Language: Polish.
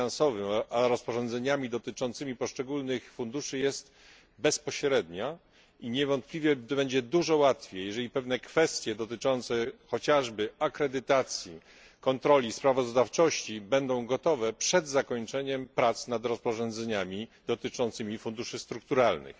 finansowym a rozporządzeniami dotyczącymi poszczególnych funduszy jest bezpośrednia i niewątpliwie będzie dużo łatwiej, jeżeli pewne kwestie dotyczące chociażby akredytacji, kontroli i sprawozdawczości będą gotowe przed zakończeniem prac nad rozporządzeniami dotyczącymi funduszy strukturalnych.